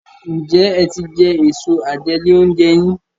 Njé é tí jé Èso àjẹlé-oúnjẹ yín?